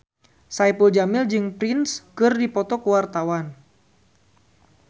Saipul Jamil jeung Prince keur dipoto ku wartawan